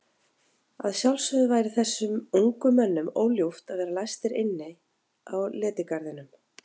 Að sjálfsögðu væri þessum ungu mönnum óljúft að vera læstir inni á letigarðinum.